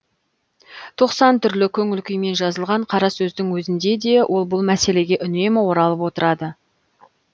тоқсан түрлі көңіл күйімен жазылған қарасөздің өзінде де ол бұл мәселеге үнемі оралып отырады